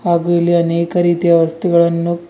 ಹಾಗೂ ಇಲ್ಲಿ ಅನೇಕ ರೀತಿಯ ವಸ್ತುಗಳನ್ನು--